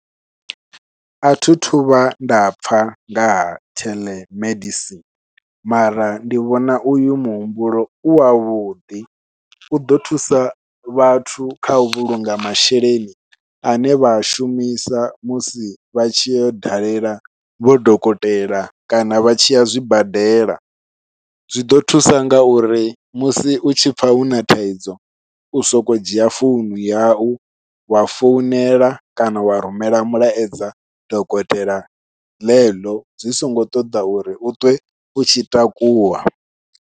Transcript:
Athithu vha nda pfha nga ha telemedicine, mara ndi vhona uyu muhumbulo u wavhuḓi u ḓo thusa vhathu khau vhulunga masheleni ane vha a shumisa musi vha tshi yau dalela vho dokotela kana vha tshiya zwibadela. Zwiḓo thusa ngauri musi u tshi pfha huna thaidzo u sokou dzhia founu yau wa founela kana wa rumela mulaedza dokotela ḽeḽo zwi songo ṱoḓa uri u thome u tshi takuwa.